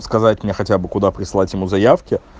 сказать мне хотя бы куда прислать ему заявки